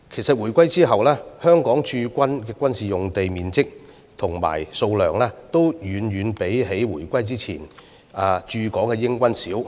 自回歸後，香港駐軍的軍事用地面積和數量其實均遠較回歸前的駐港英軍少。